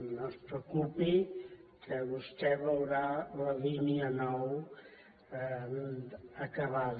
no es preocupi que vostè veurà la línia nou acabada